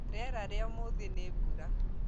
Rĩera rĩa ũmũthi nĩ mbura